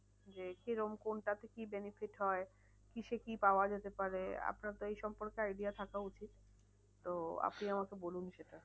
যে কিরম কোনটা কি কি benefit হয়? কিসে কি পাওয়া যেতে পারে? আপনার তো এই সম্পর্কে idea থাকা উচিত। তো আপনি আমাকে বলুন সেটা।